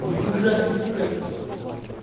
твой дурацкий сука